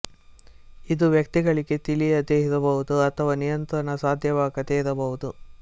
ಇದು ವ್ಯಕ್ತಿಗಳಿಗೆ ತಿಳಿಯದೆ ಇರಬಹುದು ಅಥವಾ ನಿಯಂತ್ರಣ ಸಾಧ್ಯವಾಗದೇ ಇರಬಹುದು